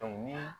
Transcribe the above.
ni